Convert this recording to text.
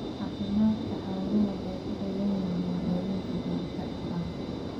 Caafimaadka xooluhu waxay ku xidhan yihiin daawaynta joogtada ah.